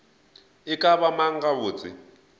e ka ba mang gabotse